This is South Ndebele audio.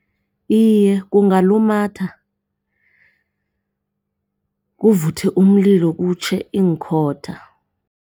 Iye, kungalumatha kuvuthe umlilo kutjhe iinkhotha.